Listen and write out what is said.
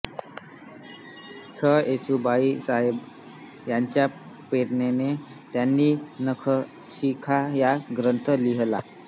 छ येसुबाईसाहेब यांच्या प्रेरणेने त्यांनी नखशिखा हा ग्रंथ लिहिला